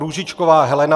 Růžičková Helena